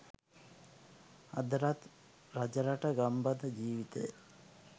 අදටත් රජරට ගම්බද ජීවිතය